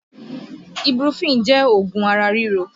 Ibuprofen jẹ́ oògùn ara ríro